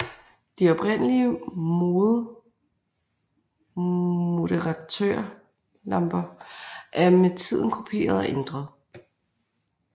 De oprindelige moderatørlamper er med tiden kopieret og ændret